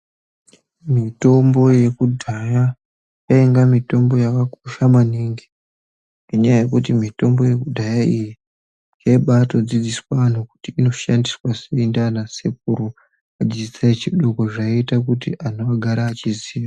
Mitombo yekudhaya yainga mitombo yakakosha maningi ngenyaya yekuti mitombo yekudhaya iyi yaibatodzidziswa antu kuti inoshandiswa sei ndiana sekuru. Vachidzidzisa echidoko zvaita kuti ana agare echiziya.